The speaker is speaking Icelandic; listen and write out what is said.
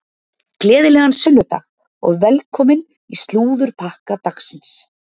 Gleðilegan sunnudag og velkomin í slúðurpakka dagsins.